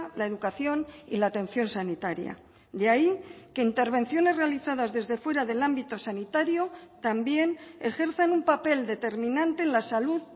la educación y la atención sanitaria de ahí que intervenciones realizadas desde fuera del ámbito sanitario también ejercen un papel determinante en la salud